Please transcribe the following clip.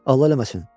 Allah eləməsin.